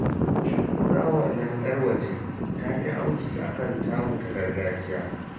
Fulawar nan 'yar waje ta fi auki a kan tamu ta gargajiya